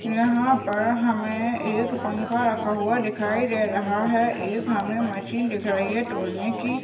यहा पर हमे एक पंखा रखा हुवा दिखाई देराह है एक हमे मशीन दिख रही है टोल नेकी।